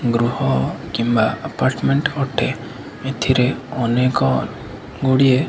ଗୃହ କିମ୍ବା ଅପାର୍ଟମେଣ୍ଟ ଅଟେ ଏଥିରେ ଅନେକ ଗୁଡ଼ିଏ --